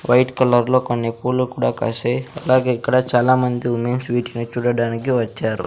White colour లో కొన్ని పూలు కూడా కాశాయి అలాగే ఇక్కడ చాలా మంది వుమెన్స్ వీటిని చూడడానికి వచ్చారు.